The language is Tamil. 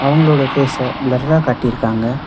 உங்களோட ஃபேஸ பிளரா காட்டிருக்காங்க.